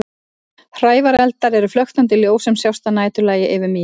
Hrævareldar eru flöktandi ljós sem sjást að næturlagi yfir mýrum.